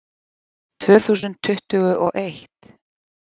Tvö þúsund tuttugu og eitt